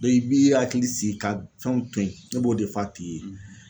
i b'i hakili sigi ka fɛnw to yen ne b'o de f'a tigi ye,